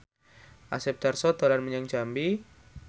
Asep Darso dolan menyang Jambi